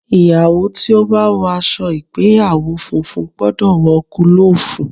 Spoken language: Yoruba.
Ìyàwó tí ó bá wọ aṣọ ìgbéyàwó funfun gbọ́dọ̀ wọ gúlọ̀fù.